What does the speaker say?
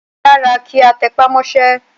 Ó dára kí a tẹpá mọ́sẹ́.